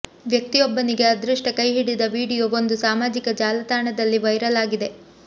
ವ್ಯಕ್ತಿಯೊಬ್ಬನಿಗೆ ಅದೃಷ್ಟ ಕೈಹಿಡಿದ ವಿಡಿಯೋ ಒಂದು ಸಾಮಾಜಿಕ ಜಾಲತಾಣದಲ್ಲಿ ವೈರಲ್ ಆಗಿದೆ